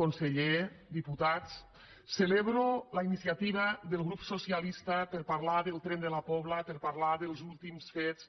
conseller diputats celebro la iniciativa del grup socialista per parlar del tren de la pobla per parlar dels últims fets